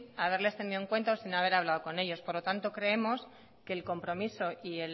haberles tenido en cuenta o sin haber hablado con ellos por lo tanto creemos que el compromiso y